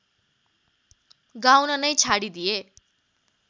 गाउन नै छाडिदिए